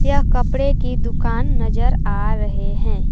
यह कपड़े की दुकान नजर आ रहे हैं।